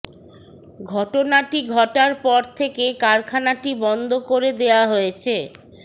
ঘটনাটি ঘটার পর থেকে কারখানটি বন্ধ করে দেওয়া হয়েছে